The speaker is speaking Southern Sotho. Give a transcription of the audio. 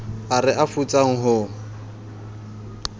ao re a futsang ho